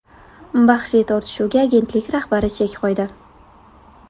Bahsli tortishuvga agentlik rahbari chek qo‘ydi.